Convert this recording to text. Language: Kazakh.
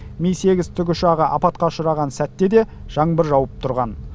ми сегіз тікұшағы апатқа ұшыраған сәтте де жаңбыр жауып тұрған